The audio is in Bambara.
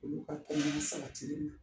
Olu ka kɛnɛya sabatilen don